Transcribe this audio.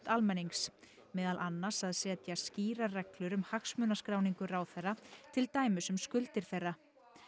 almennings meðal annars að setja skýrar reglur um hagsmunaskráningu ráðherra til dæmis um skuldir þeirra